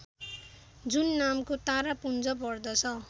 जुन नामको तारापुञ्ज पर्दछ